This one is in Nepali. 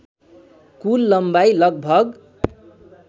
कुल लम्बाई लगभग